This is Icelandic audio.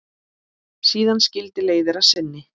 Síðan skildi leiðir að sinni.